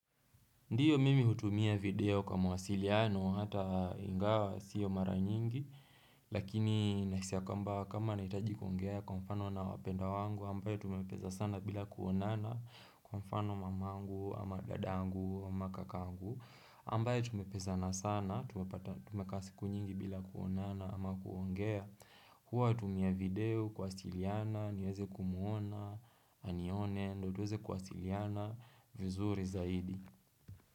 Ndiyo mimi hutumia video kwa mawasiliano hata ingawa sio mara nyingi Lakini nahisi kwamba kama nahitaji kuongea kwa mfano na wapendwa wangu ambaye tumepeza sana bila kuonana kwa mfano mamangu ama dadangu ama kakangu ambaye tumepezana sana tumeka asiku nyingi bila kuonana ama kuongea Kwa hutumia video kwa wasiliana niweze kumuona anione Ndiyo tuweze kwa wasiliana vizuri zaidi.